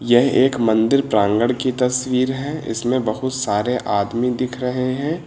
यह एक मंदिर प्रांगण की तस्वीर है इसमें बहुत सारे आदमी दिख रहे हैं।